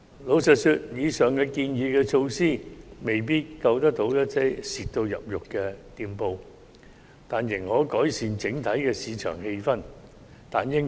坦白說，以上建議的措施未必挽救到嚴重虧損的店鋪，但應可改善整體市場氣氛。